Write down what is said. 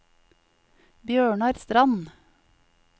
Bjørnar Strand